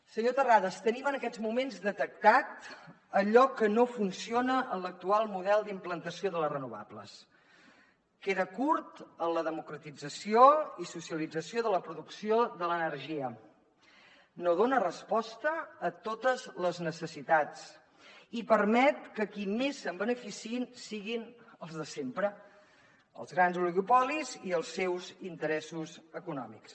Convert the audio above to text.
senyor terrades tenim en aquests moments detectat allò que no funciona en l’actual model d’implantació de les renovables queda curt en la democratització i socialització de la producció de l’energia no dona resposta a totes les necessitats i permet que qui més se’n beneficiïn siguin els de sempre els grans oligopolis i els seus interessos econòmics